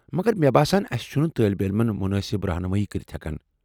مگر مےٚ باسان أسہِ چھنہٕ طٲلب علمن مُنٲسِب رہنمائی کرِتھ ہیٚکان۔